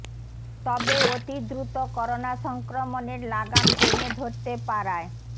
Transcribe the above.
তবে অতি দ্রুত করোনা সংক্রমণের লাগাম টেনে ধরতে পারায়